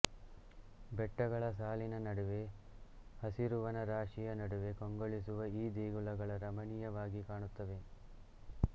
ಬೆಟ್ಟಗಳ ಸಾಲಿನ ನಡುವೆ ಹಸಿರುವನ ರಾಶಿಯ ನಡುವೆ ಕಂಗೊಳಿಸುವ ಈ ದೇಗುಲಗಳ ರಮಣೀಯವಾಗಿ ಕಾಣುತ್ತವೆ